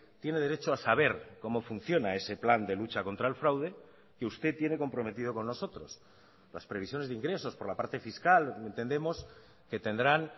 tiene derecho a saber cómo funciona ese plan de lucha contra el fraude que usted tiene comprometido con nosotros las previsiones de ingresos por la parte fiscal entendemos que tendrán